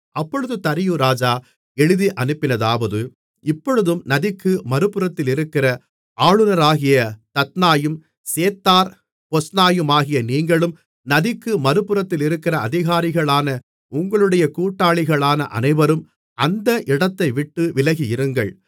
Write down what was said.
அப்பொழுது தரியு ராஜா எழுதியனுப்பினதாவது இப்பொழுதும் நதிக்கு மறுபுறத்திலிருக்கிற ஆளுனராகிய தத்னாயும் சேத்தார் பொஸ்னாயுமாகிய நீங்களும் நதிக்கு மறுபுறத்திலிருக்கிற அதிகாரிகளான உங்களுடைய கூட்டாளிகளான அனைவரும் அந்த இடத்தைவிட்டு விலகியிருங்கள்